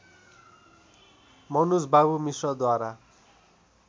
मनुजबाबु मिश्रद्वारा